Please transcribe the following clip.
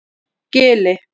Gili